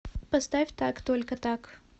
поставь так только так